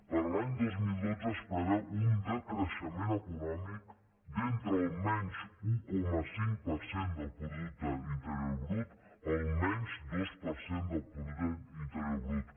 per a l’any dos mil dotze es preveu un decreixement econòmic d’entre el menys un coma cinc del producte interior brut al menys dos per cent del producte interior brut